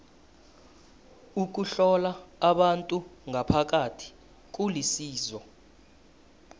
ukuhlola abantu ngaphakathi kulisizo